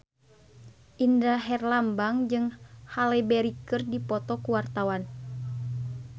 Indra Herlambang jeung Halle Berry keur dipoto ku wartawan